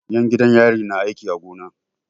'Yan gidan yari na aiki a gona.